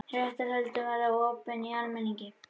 Réttarhöldin verða opin almenningi